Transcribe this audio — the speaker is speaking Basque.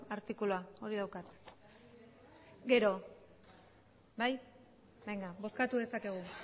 artikulua hori daukat bozkatu dezakegu